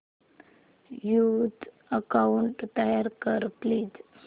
new account तयार कर please